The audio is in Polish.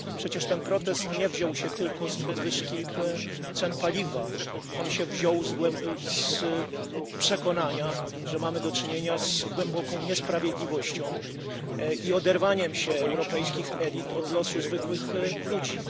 Przecież ten protest nie wziął się tylko z podwyżki cen paliwa. On się wziął z przekonania, że mamy do czynienia z głęboką niesprawiedliwością i oderwaniem się europejskich elit od losu zwykłych ludzi.